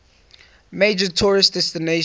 major tourist destination